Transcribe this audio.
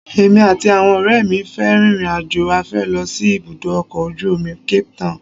Èmi àti àwọn ọ̀rẹ́ mi fẹ́ rin ìrìnàjò afẹ́ lọ sí ibùdó ọkọ̀ ojú omi Cape town